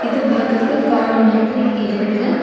இது பாக்குறக்கு காடு மாதிரி இருக்கு.